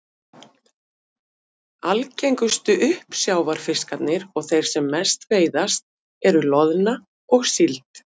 Algengustu uppsjávarfiskarnir og þeir sem mest veiðast eru loðna og síld.